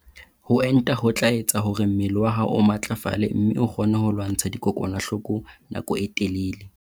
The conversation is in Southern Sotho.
Ho enta ho tla etsa hore mmele wa hao o matlafale mme o kgone ho lwantsha dikokwanahloko nako e telele.